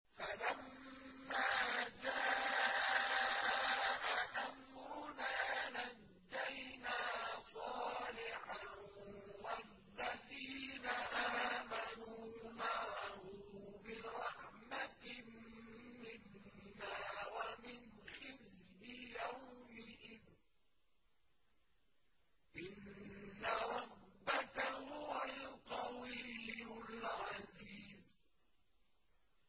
فَلَمَّا جَاءَ أَمْرُنَا نَجَّيْنَا صَالِحًا وَالَّذِينَ آمَنُوا مَعَهُ بِرَحْمَةٍ مِّنَّا وَمِنْ خِزْيِ يَوْمِئِذٍ ۗ إِنَّ رَبَّكَ هُوَ الْقَوِيُّ الْعَزِيزُ